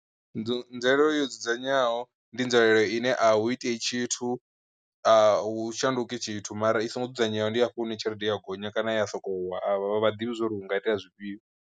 Nzwalelo yo dzudzanywaho ndi nzwalelo ine ahu itei tshithu, a u shanduki tshithu mara i songo dzudzanyeaho ndi hafha hune tshelede ya gonya kana ya sokou wa a vha ḓivhi zwo ri hu nga itea zwifhio.